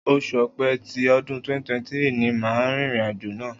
Oṣù Ọ̀pẹ tí ọdún 2023 ni màá rìnrìn àjò náà.